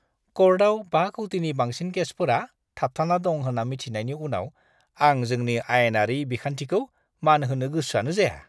क'र्टआव 5 कौटिनि बांसिन केसफोरा थाबथाना दं होन्ना मिथिनायनि उनाव आं जोंनि आयेनारि बिखान्थिखौ मान होनो गोसोआनो जाया।